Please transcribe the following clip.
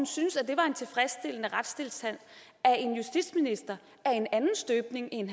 synes at det var en tilfredsstillende retstilstand at en justitsminister af en anden støbning end